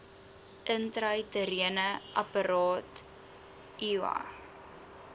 intrauteriene apparaat iua